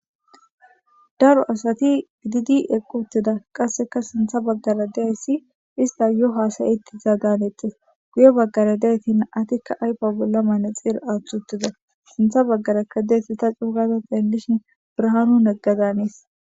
Daro asati shiqidi eqi utida qassekka sintha bagara dizaysi isttas yo haasa'she dizada hanetees guye bagara nam'aykka ayfe bolla manaxire aththi utida sintha bagara dizaysi ta c'o' u gada xelishin birahanu negada hanes.